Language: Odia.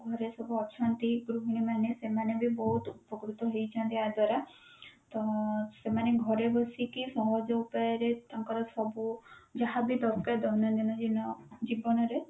ଆମର ସବୁ ଅଛନ୍ତି ଗୃହିଣୀ ମାନେ ସେମାନେ ବି ବହୁତ ଉପକୃତ ହେଇଛନ୍ତି ୟା ଦ୍ଵାରା ତ ସେମାନେ ଘରେ ବସିକି ସହଜ ଉପାଯରେ ତାଙ୍କର ସବୁ ଯାହାବି ଦରକାର ଦୈନନ୍ଦିନ ଜୀବନରେ